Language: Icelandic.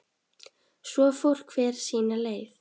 Svo fór hver sína leið.